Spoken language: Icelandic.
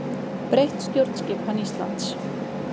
Breytt stjórnskipan Íslands